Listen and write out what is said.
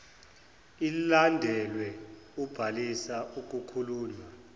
ilandelwe ubhaliso okukhulunywa